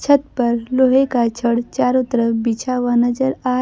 छत पर लोहे का छड़ चारों तरफ बिछा हुआ नजर आ--